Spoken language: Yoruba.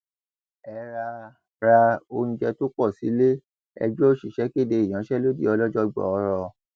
ẹ ra ra oúnjẹ tó pọ sílé ẹgbẹ òṣìṣẹ kéde ìyanṣẹlódì ọlọjọ gbọọrọ